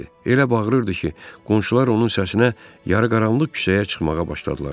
Elə bağırırdı ki, qonşular onun səsinə yarıqaranlıq küçəyə çıxmağa başladılar.